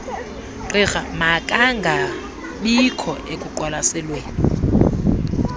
gqirha makangangabikho ekuqwalaselweni